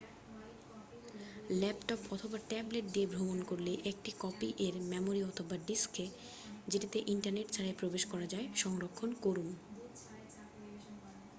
Laptop অথবা tablet নিয়ে ভ্রমণ করলে একটি কপি এর মেমোরি অথবা ডিস্কে যেটিতে ইন্টারনেট ছাড়াই প্রবেশ করা যায় সংরক্ষণ করুন।